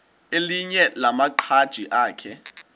elinye lamaqhaji akhe